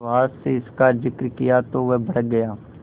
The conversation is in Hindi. सुहास से इसका जिक्र किया तो वह भड़क गया